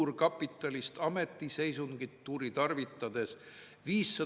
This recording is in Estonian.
Oli Koonderakond, väga edukas partei, kes lõi laineid ja sai vist ajaloo kõige parema tulemuse, üle 40 Riigikogu koha.